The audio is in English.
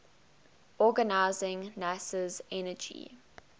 organizing nasa's energy